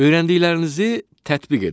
Öyrəndiklərinizi tətbiq edin.